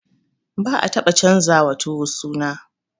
Ba'a taba canjawa tuwo suna.